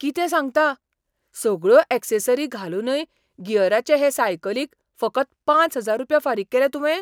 कितें सांगता? सगळ्यो ऍक्सेसरी घालूनय गियराचे हे सायकलीक फकत पांच हजार रुपया फारीक केले तुवें?